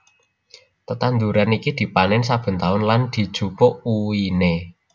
Tetanduran iki dipanèn saben taun lan dijupuk uwiné